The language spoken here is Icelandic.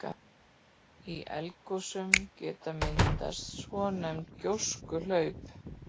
Í eldgosum geta myndast svonefnd gjóskuhlaup.